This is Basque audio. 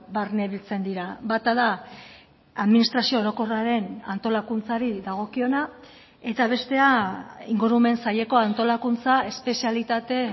barnebiltzen dira bata da administrazio orokorraren antolakuntzari dagokiona eta bestea ingurumen saileko antolakuntza espezialitate